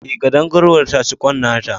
Ae, ƙadangaruwar ta ci kwan nata